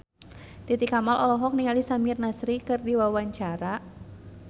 Titi Kamal olohok ningali Samir Nasri keur diwawancara